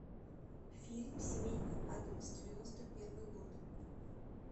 фильм семейка аддамс девяносто первый год